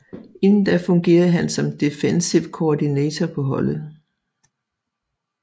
Inden da fungerede han som Defensive Coordinator på holdet